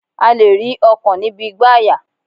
A lè rí ọkàn níbi igbàyà